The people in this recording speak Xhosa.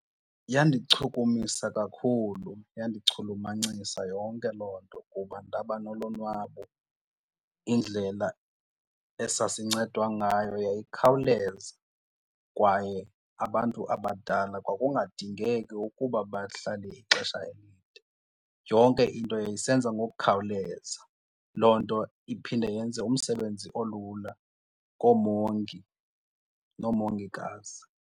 Yandichukumisa kakhulu, yandichulumancisa yonke loo nto kuba ndaba nolonwabo. Indlela esasincedwa ngayo yayikhawuleza kwaye abantu abadala kwakungadingeki ukuba bahlale ixesha elide, yonke into yayisenza ngokukhawuleza. Loo nto iphinde yenze umsebenzi olula koomongi noomongikazi.